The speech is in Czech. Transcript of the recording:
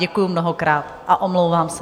Děkuji mnohokrát a omlouvám se.